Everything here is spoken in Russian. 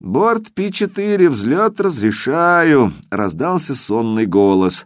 борт пи-четыре взлёт разрешаю раздался сонный голос